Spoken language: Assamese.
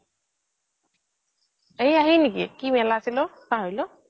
এইয়া সি নেকি কি মেলা আছিল পাহৰিলো